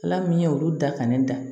Ala min ye olu da ka ne da